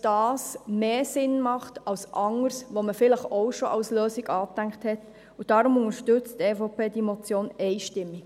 Deshalb unterstützt die EVP diese Motion einstimmig.